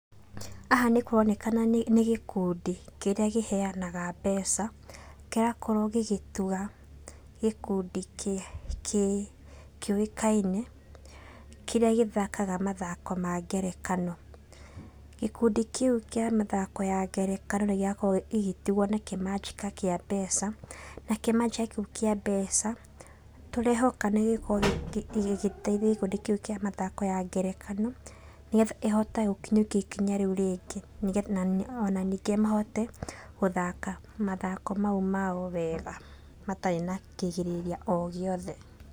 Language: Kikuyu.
Haha nĩkũronekana nĩgĩ nĩgĩkundi kĩrĩa kĩheanaga mbeca, kĩrakorwo gĩgĩtuga gĩkundi kĩ kĩ kĩũikaine, kĩrĩa gĩthakaga mathako ma ngerekano. Gĩkundi kĩũ kĩa mathako ya ngerekano nĩgĩakorwo gĩgĩtugwo na kĩmanjĩka kĩa mbeca, na kĩmanjĩka kĩu kĩa mbeca, tũrehoka nĩgĩgũkorwo gĩgĩteithia gĩkundĩ kĩũ kia mathako ya ngerekano, nĩgetha ihote gũkinyũkia ikinya rĩũ rĩngĩ nĩge ona ningĩ mahote gũthaka mathako mau mao wega, matarĩ na kĩgirĩrĩria o gĩothe.